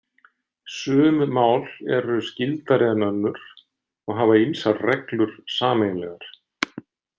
Sum mál eru skyldari en önnur og hafa ýmsar reglur sameiginlegar.